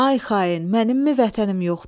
Ay xain, mənimmi vətənim yoxdur?